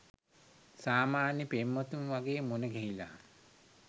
සාමාන්‍ය පෙම්වතුන් වගේ මුණ ගැහිලා